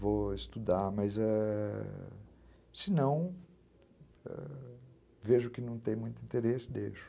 Vou estudar, mas é... se não, vejo que não tem muito interesse, deixo.